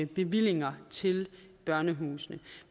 bevillinger til børnehusene